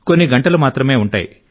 కొన్ని గంటలు మాత్రమే ఉంటాయి